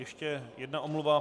Ještě jedna omluva.